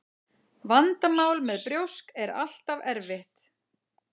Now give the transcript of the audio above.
Vandamál með brjósk er alltaf erfitt.